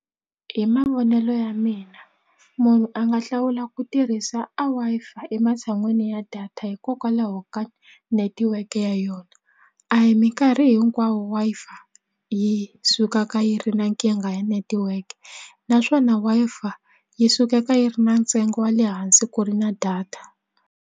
Hi mavonelo ya mina munhu a nga hlawula ku tirhisa a Wi-Fi ematshan'wini ya data hikokwalaho ka netiweke ya yona a hi minkarhi hinkwawo Wi-Fi yi sukaka yi ri na nkingha ya netiweke naswona Wi-Fi yi sukeka yi ri na ntsengo wa le hansi ku ri na data.